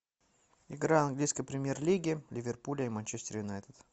игра английской премьер лиги ливерпуля и манчестер юнайтед